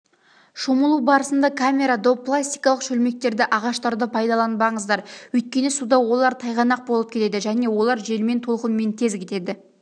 шомылу барысында камера доп пластикалық шөлмектерді ағаштарды пайдаланбаңыздар өйткені суда олар тайғанақ болып кетеді және олар желмен толқынмен тез кетеді